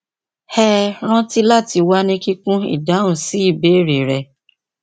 hẹ ranti lati wa ni kikun idahun si ibeere rẹ